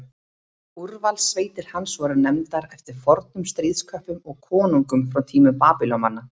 Úrvalssveitir hans voru nefndar eftir fornum stríðsköppum og konungum frá tímum Babýloníumanna.